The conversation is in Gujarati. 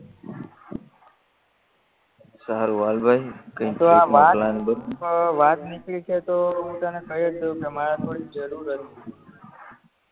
સારું હાલ ભાઈ પણ હવે વાત નીકળી છે તો તને કયજ દવ કે મારે થોડીલ જરૂર હતી